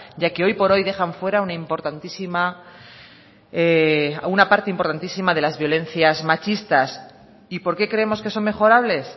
ya que hoy por hoy dejan fuera una parte importantísima de las violencias machistas y por qué creemos que son mejorables